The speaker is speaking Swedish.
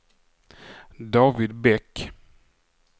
David Bäck